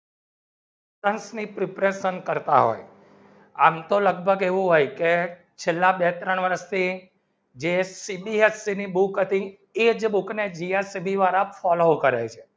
સંઘ ની preparation કરતા હોય આમ તો લગભગ એવું હોય કે છેલ્લા બે ત્રણ વર્ષથી ની બુક ની follow કરતા હતી